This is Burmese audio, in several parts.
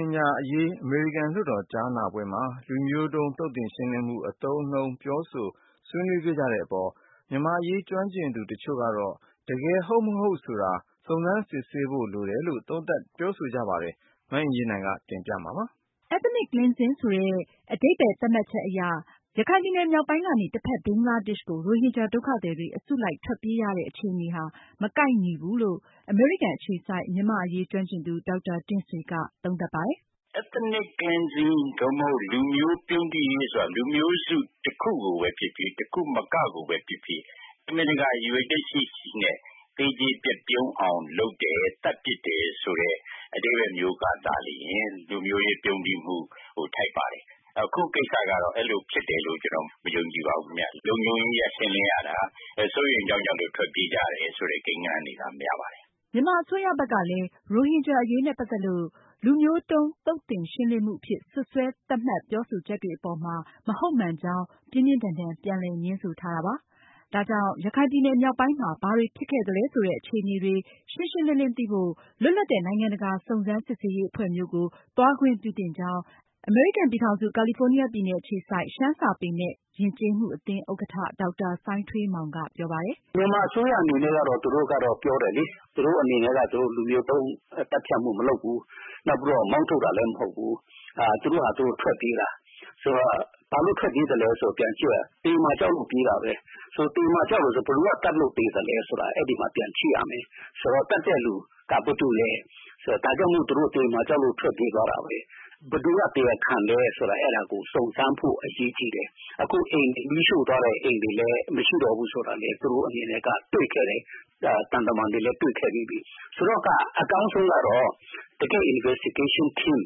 င်ဂျာအရေး ကြားနားပွဲမှာ Ethnic Cleansing ဆိုတဲ့ လူမျိုးတုံး သုတ်သင်ရှင်းလင်းမှု အသုံးအနှုန်း ပြောဆို ဆွေးနွေးခဲ့ကြတဲ့အပေါ်မှာ မြန်မာ့အရေးကျွမ်းကျင်သူတချို့ကတော့ တကယ်ဟုတ်မဟုတ်ဆိုတာ စုံစမ်းစစ်ဆေးဖို့ လိုတယ်လို့ သုံးသပ်ကြပါတယ်။အကြောင်းစုံကို မအင်ကြင်းနိုင်တင်ပြပေးမှာပါ။ Ethnic cleansing ဆိုတဲ့ အဓိပ္ပါယ် သတ်မှတ်ချက်နဲ့ ပြောမယ်ဆိုရင် ရခိုင်ပြည်နယ်မြောက်ပိုင်းကနေ တဖက် ဘင်္ဂလားဒေ့ရှ်ကို ရိုဟင်ဂျာဒုက္ခသည်တွေ အစုလိုက်ထွက်ပြေးရတဲ့အခြေအနေ ဟာ ကိုက်ညီမှုမရှိဘူးလို့ အမေရိကန်အခြေစိုက် မြန်မာ့အရေးကျွမ်းကျင်သူ ဒေါက်တာတင့်ဆွေက သုံးသပ်ပါတယ်။ “Ethnic cleansing သို့မဟုတ် လူမျိုးပြုန်းတီးရေးဆိုတာ လူမျိုးစုတခုကိုပဲဖြစ်ဖြစ် တခုမကကိုပဲဖြစ်ဖြစ် တမင်တကာ ရည်ရွယ်ချက်ရှိရှိနဲ့ သေကျေ ပျက်သုဉ်းအောင်လုပ်တယ် သတ်ပစ်တယ်ဆိုတဲ့ အဓိပ္ပါယ်မျိုးကသာလျှင် လူမျိုးရေးပြုန်းတီးမှုပိုထိုက်ပါတယ်။ အခုကိစ္စကတော့ အဲလိုဖြစ်တယ်လို့ ကျနော်မယုံကြည်ပါဘူး။ လုံခြုံရေးအရ ရှင်းလင်းရတာ စိုးရိမ်လို့ ထွက်ပြေးကြတဲ့ ကိန်းဂဏန်းတွေက များပါတယ်။” မြန်မာအစိုးရဘက်က ရိုဟင်ဂျာအရေးနဲ့ ပတ်သက်လို့ လူမျိုးတုန်းသုတ်သင်ရှင်းလင်းမှုအဖြစ် စွပ်စွဲသတ်မှတ်ပြောဆိုချက်တွေအပေါ်မှာ မဟုတ်မှန်ကြောင်း ပြင်းပြင်းထန်ထန် ပြန်လည်ငြင်းဆိုထားတာပါ။ ဒါကြောင့် ရခိုင်ပြည်နယ်မြောက်ပိုင်းမှာ ဘာတွေဖြစ်ခဲ့သလဲဆိုတဲ့ အခြေအနေတွေ ရှင်းရှင်းလင်းလင်းသိဖို့ လွတ်လပ်တဲ့နိုင်ငံတကာ စုံစမ်းစစ်ဆေးရေးအဖွဲ့မျိုး ကို သွားခွင့်ပြုသင့်ကြောင်း အမေရိကန်ပြည်ထောင်စု ကာလီဖိုနီးယားပြည်နယ်အခြေစိုက် ရှမ်းစာပေနဲ့ ယဉ်ကျေးမှု ဥက္ကဌ ဒေါက်တာစိုင်းထွေးမောင်က ပြောပါတယ်။ “မြန်မာအစိုးရအနေနဲ့ကတော့ သူတို့ကတော့ ပြောတယ်လေ သူတို့အနေနဲ့က လူမျိုးတုံးသတ်ဖြတ်မှုမလုပ်ဘူး နောက်ပြီးတော့ မောင်းထုတ်တာလည်းမဟုတ်ဘူး။ သူတို့ဟာ သူတို့ ထွက်ပြေးတာ ဆိုတော့ ဘာလို့ထွက်ပြေးသလဲဆိုတာကို ပြန်ကြည့်ရင်တော့ သေမှာကြောက်လို့ပြေးတာပဲ၊ သေမှာကြောက်တယ်ဆိုတော့ ဘယ်သူက သတ်လို့သေသလဲဆိုတာ အဲဒီမှာ ပြန်ကြည့်ရမယ်။ ဆိုတော့ သတ်တဲ့လူက ဘယ်သူလဲ ဒါကြောင့် သေမှာကြောက်လို့ထွက်ပြေးသွားတာ။ ဘယ်သူက တရားခံလဲဆိုတာကို စုံစမ်းဖို့ အရေးကြီးတယ်။ အခုအိမ်တွေ မီးရို့သွားတယ် ၊ လူတွေလည်းမရှိတော့ဘူးဆိုတာ သူတို့အနေနဲ့က သံတမန်တွေလည်း တွေ့ခဲ့ပြီးပြီ။ ဆိုတော့အကောင်းဆုံးကတော့ တကယ့် Investigation team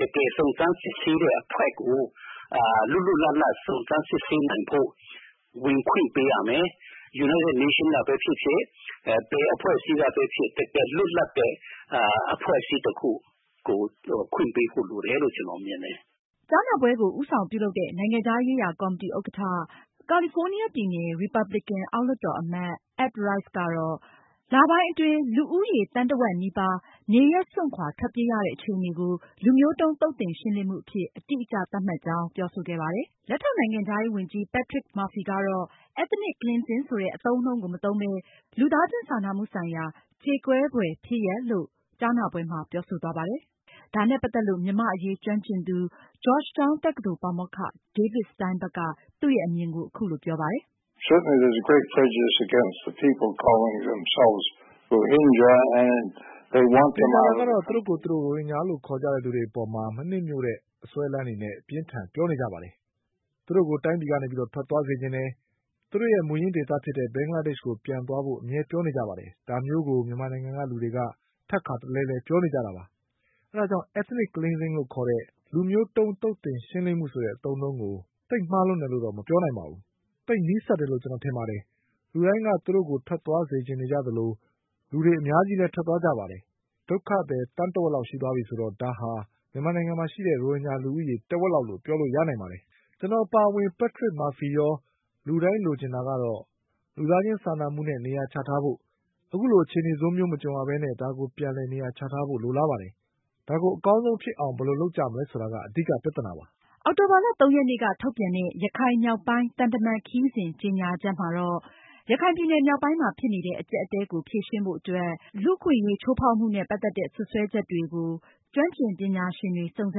တကယ် စုံစမ်းစစ်ဆေးတဲ့အဖွဲ့ကို လွတ်လွတ်လပ်လပ် စုံစမ်းစစ်ဆေးနိုင်ဖို့ ဝင်ခွင့်ပေးရမယ်။ United Nations ကပဲဖြစ်ဖြစ် ဘယ်အဖွဲ့အစည်းကပဲဖြစ်ဖြစ် တကယ်လွတ်လပ်တဲ့ အဖွဲ့အစည်းတခု ကို ခွင့်ပေးဖို့လိုတယ်လို့ ကျနော်ကတော့မြင်တယ်။” ကြားနာပွဲကို ဦးဆောင်ပြုလုပ်တဲ့ နိုင်ငံခြားရေးရာကော်မတီဥက္ကဌ၊ ကာလီဖိုးနီးယားပြည်နယ် ရီပတ်ဘလီကန် အောက်လွှတ်တော် အမတ် Ed Royce ကတော့ လပိုင်းအတွင်း လူဦးရေ သန်းတဝက်နီးပါး နေရပ်စွန့်ခွာထွက်ပြေးရတဲ့အခြေအနေကို လူမျိုးတုံးသုတ်သင်ရှင်းလင်းမှုအဖြစ် အတိအကျသတ်မှတ်ကြောင်း ပြောဆိုခဲ့ပါတယ်။ လက်ထောက်နိုင်ငံခြားရေးဝန်ကြီး Patrick Murphy ကတော့ Ethnic Cleaning ဆိုတဲ့အသုံးအနှုန်းကို မသုံးပဲ လူသားချင်းစာနာမှုဆိုင်ရာ ကြေကွဲဖွယ် ဖြစ်ရပ်လို့ ပဲ ထွက်ဆိုသွားပါတယ်။ ဒါနဲ့ ပတ်သက်လို့ မြန်မာ့အရေးကျွမ်းကျင်သူ ဂျော့ချ်တောင်းတက္ကသိုလ် ပါမောက္ခ ဒေးဗစ်စတိုင်ဘတ်က သူရဲ့ အမြင်ကို အခုလိုပြောပါတယ်။ “သေချာတာကတော့ မြန်မာနိုင်ငံမှာ သူတို့ကိုယ်သူတို့ခေါ်နေတဲ့ ရိုဟင်ဂျာတွေအပေါ် မနှစ်မြို့တဲ့ အစွဲအလမ်းနဲ့ အပြင်းအထန်ပြောနေကြတာ၊ သူတို့ကို တိုင်းပြည်ကနေ ထွက်သွားစေချင်ကြတာ စတာတွေကို ပြောဆိုနေကြတာပါ။ သူတို့ရဲ့ မူရင်းဒေသဖြစ်တဲ့ ဘင်္ဂလားဒေ့ရှ်ကို ပြန်သွားဖို့ အမြဲပြောနေကြပါတယ်။ ဒါမျိုးကို မြန်မာနိုင်ငံကလူတွေက ထပ်ခါတလဲလဲပြောနေကြတာပါ။ ဒါကြောင့် အခုကိစ္စမှာ ethnic cleansing ဆိုတဲ့ လူမျိုးတုံး သုတ်သင်ရှင်းလင်းမှု အသုံးအနှုန်းကို သိပ်မှားလွန်တယ်လို့ မပြောနိုင်ပါဘူး။ သိပ်နီးစပ်တယ်လို့ ကျနော်ထင်ပါတယ်။ လူတိုင်းက သူတို့ကိုထွက်သွားစေချင်ကြ သလို လူတွေအများကြီးလည်းထွက်သွားကြပါတယ်။ ဒုက္ခသည် သန်းတဝက်ရှိသွားပြီဆိုတော့ ဒါဟာ မြန်မာနိုင်ငံမှာရှိတဲ့ ရိုဟင်ဂျာလူဦးရေ တဝက်လောက်လို့ ပြောလို့ရနိုင်ပါတယ်။ ကျနော်အပါအဝင် Patrick Murphy ရော လူတိုင်းလိုချင်တာကတော့ လူသားချင်းစာနာမှုနဲ့ နေရာချထားဖို့၊ အခုလိုအခြေအနေဆိုးမျိုးမကြုံရပဲနဲ့ ဒါကို ပြန်လည်နေရာချထားဖို့ကို လိုလားပါတယ်။ ဒါကို အကောင်းဆုံးဖြစ်အောင် ဘယ်လိုလုပ်မလဲဆိုတာ အဓိကပြဿနာပါ။” အောက်တိုဘာလ ၃ ရက်နေ့က ထုတ်ပြန်တဲ့ ရခိုင်မြောက်ပိုင်း သံတမန်ခရီးစဉ်ကြေညာချက်မှာတော့ ရခိုင်ပြည်နယ်မြောက်ပိုင်းမှာ ဖြစ်နေတဲ့ အကျပ်အတည်းကို ဖြေရှင်းဖို့အတွက် လူ့အခွင့်အရေးချိုးဖောက်မှုနဲ့ ပတ်သက်တဲ့ စွပ်စွဲချက်တွေအပေါ် ကျွမ်းကျင်ပညာရှင်တွေ စုံစ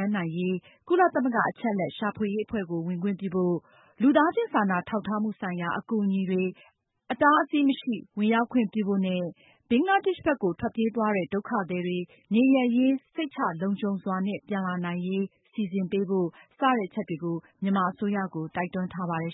မ်းနိုင်ရေး ကုလသမဂ္ဂအချက်အလက်ရှာဖွေရေးအဖွဲ့ကို ဝင်ခွင့်ပြုဖို့၊ လူသားချင်းစာနာထောက်ထားမှုဆိုင်ရာအကူအညီတွေ အတားအဆီးမရှိ ဝင်ရောက်ခွင့်ပြုဖို့နဲ့ ဘင်္ဂလားဒေ့ရှ်ဘက်ကို ထွက်ပြေးသွားတဲ့ ဒုက္ခသည်တွေ နေရပ်ရင်း စိတ်ချလုံခြုံစွာနဲ့ ပြန်လာနိုင်ရေး စီစဉ်ပေးဖို့ စတဲ့အချက်တွေကို မြန်မာအစိုးရကို တိုက်တွန်းထားပါတယ်